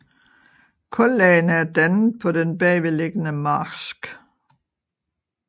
Kullagene er dannet på den bagvedliggende marsk